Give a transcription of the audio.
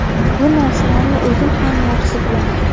Bu narsalarni o‘zim ham yaxshi bilaman.